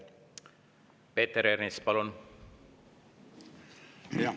Peeter Ernits, palun!